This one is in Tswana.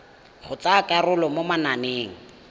go tsaya karolo mo mananeng